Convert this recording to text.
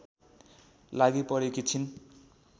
लागिपरेकी छिन्